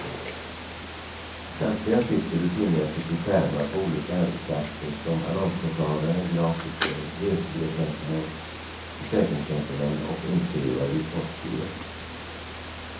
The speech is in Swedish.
Samtliga sitter rutinmässigt vid skärmar på olika arbetsplatser som annonsmottagare, grafiker, resebyråtjänstemän, försäkringstjänstemän och inskrivare vid postgirot.